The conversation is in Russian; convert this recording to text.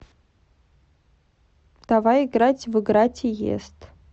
давай играть в игра тиест